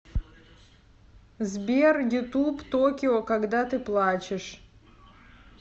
сбер ютуб токио когда ты плачешь